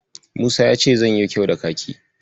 Musa ya ce zanyo kyau da Kaki.